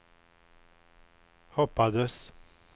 hoppades